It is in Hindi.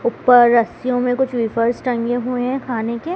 ऊपर रस्सीयों में कुछ वेफर्स टंगे हुए हैं खाने के।